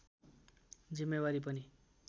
जिम्मेवारी पनि